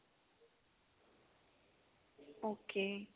okay